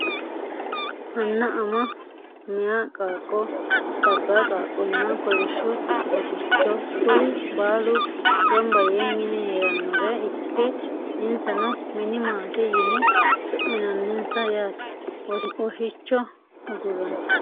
Anna ama meyaa qaaqo labaa qaaqo nna kolishsho woshichcho kuri baalu ganba yee mine heeranore ikke insano mini maate yine su`minaninsa yaate woshicho aguranna.